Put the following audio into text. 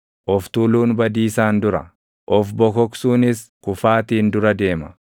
Of tuuluun badiisaan dura, of bokoksuunis kufaatiin dura deema.